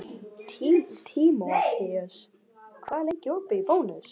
Tímoteus, hvað er lengi opið í Bónus?